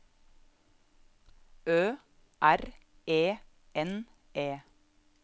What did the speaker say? Ø R E N E